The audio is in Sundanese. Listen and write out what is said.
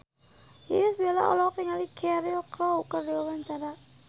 Irish Bella olohok ningali Cheryl Crow keur diwawancara